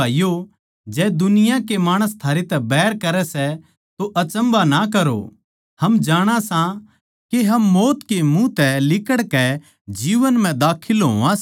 प्यार के सै इस्से तै हमनै जाण लिया के यीशु मसीह नै म्हारै खात्तर अपणी जान दे दि इस करकै हमनै भी अपणे बिश्वासी भाईयाँ कै खात्तर जान देणी चाहिए